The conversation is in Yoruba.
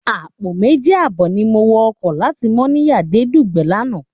Àpọ̀ méjì àbọ̀ ni mo wọ ọkọ̀ láti Mọ́níyà dé Dùgbẹ̀ lánàá